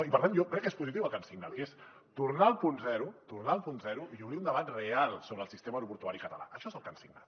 i per tant jo crec que és positiu el que han signat que és tornar al punt zero tornar al punt zero i obrir un debat real sobre el sistema aeroportuari català això és el que han signat